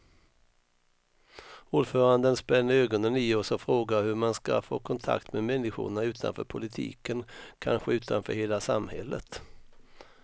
Ordföranden spänner ögonen i oss och frågar hur man ska få kontakt med människorna utanför politiken, kanske utanför hela samhället.